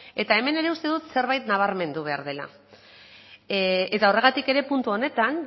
eta hemen ere uste dut zerbait nabarmendu behar dela eta horregatik ere puntu honetan